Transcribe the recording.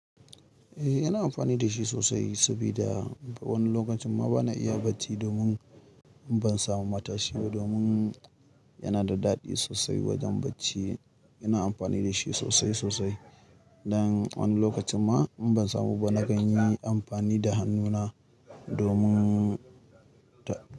Eh, yana amfani da shi sosai sabida wani lokacin ma bana iya bacci domin ban samu matashi ba. Domin yana da daɗi sosai wajen bacci. Ina amfani da shi sosai sosai. Dan wani lokacin ma in ban samu ba, na kan yi amfani da hannuna domin ta.